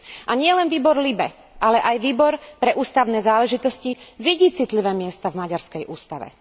A nielen výbor LIBE, ale aj Výbor pre ústavné záležitosti vidí citlivé miesta v maďarskej ústave.